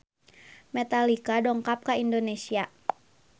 Metallica dongkap ka Indonesia